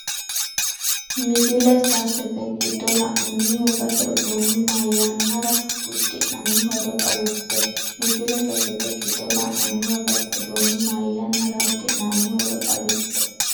Misile sasete giddo la’inanni wogate uduunni mayannara uddi’nanni- horo xawisse Misile sasete giddo la’inanni wogate uduunni mayannara uddi’nanni- horo xawisse.